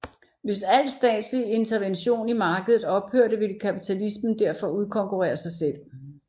Hvis alt statsligt intervention i markedet ophørte ville kapitalismen derfor udkonkurrere sig selv